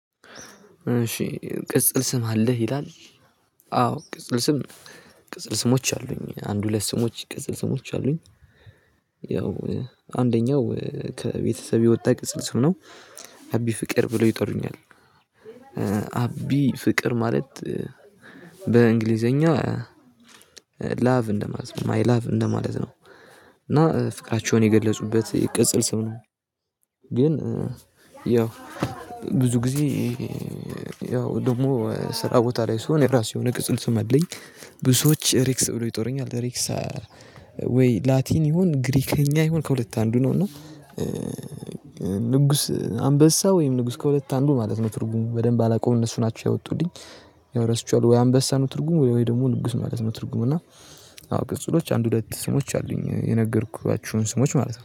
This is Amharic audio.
እሺ ቅጽል ስም አለህ ይላል? አዎ ቅጽል ስም ቅጽል ስሞች አሉኝ አንድ ሁለት ስሞች ቅጽል ስሞች አሉኝ። ያው አንደኛው ከቤተሰብ የወጣ ቅጽል ስም ነው። አቢ ፍቅር ብለው ይጠሩኛል። አቢ ፍቅር ማለት በ ላቭ እንደማለት ነው ማይ ላቭ እንደማለት ነው። እና ፍቅራቸውን የገለፁበት የቅጽል ስም ነው። ግን ያው ብዙ ጊዜ ያው ደግሞ ስራ ቦታ ላይ ስሆን የራሱ የሆነ ቅጽል ስም አለኝ። ብዙዎች ሬክስ ብሎ ይጠሩኛል ሬክስ። ወይ ላቲን ይሁን ግሪከኛ ይሁን ከሁለት አንዱ ነው እና። ንጉስ አንበሳ ወይም ንጉስ ከሁለት አንዱ ማለት ነው። ትርጉሙ በደንብ አላውቀውም እነሱ ናቸው ያወጡልኝ። ያወ ረስቸዋለው። ወይ አንበሳ ነው? ትርጉሙ ወይ ደግሞ ንጉስ ማለት ነው? ትርጉሙ እና አዎ ቅጽሎች አንድ ሁለት ስሞች አሉኝ የነገርኳችሁን ስሞች ማለት ነው